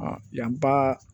Yan ba